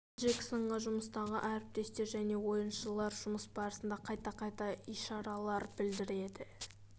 джексонға жұмыстағы әріптестер және ойыншылар жұмыс барысында қайта-қайта ишаралар білдіреді